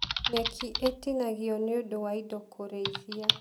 Nyekĩ ĩtinagio nĩũndũ wa indo kũrĩithia